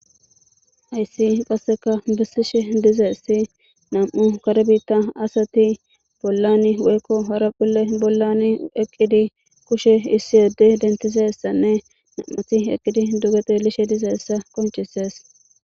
Hayssika qassikka bettishe de'aysi na'amu kare bitta asati bollani woykko horophphile bollani eqqidi, kushe issi adde dentiza issane na'amti eqqidi duge tseellishe diza issa qonccisees.